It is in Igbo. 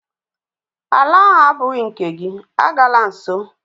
Ala ahụ agbụghị nke gị, agala nso!